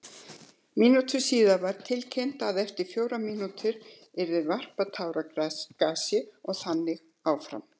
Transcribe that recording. Mínútu síðar var tilkynnt að eftir fjórar mínútur yrði varpað táragasi og þannig áfram.